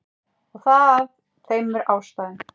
Og það af tveimur ástæðum.